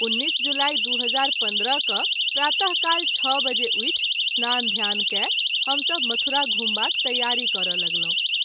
19 जुलाई 2015 क’ प्रात: काल 6 बजे उठि स्नान ध्यान कय हम सभ मथुरा घुमबाक तैयारी करय लगलहुँ।